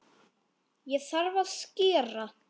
Þá þarf að skera.